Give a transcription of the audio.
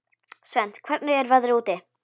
Svend, hvernig er veðrið úti?